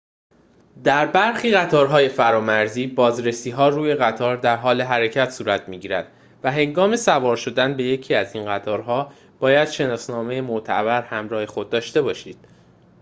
در برخی قطارهای فرامرزی بازرسی‌ها روی قطار در حال حرکت صورت می‌گیرد و هنگام سوار شدن به یکی از این قطارها باید شناسنامه معتبر همراه خود داشته باشید